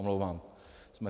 Omlouvám se.